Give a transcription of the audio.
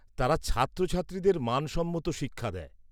-তারা ছাত্রছাত্রীদের মানসম্মত শিক্ষা দেয়।